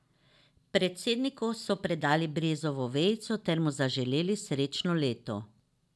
Predsedniku so predali brezovo vejico ter mu zaželeli srečno leto.